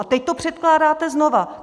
A teď to předkládáte znova.